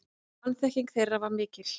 Vanþekking þeirra var mikil.